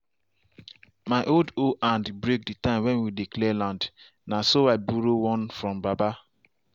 my old hoe hand break the time when we dey clear land. na so i borrow one from baba.